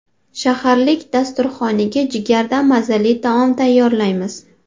Saharlik dasturxoniga jigardan mazali taom tayyorlaymiz.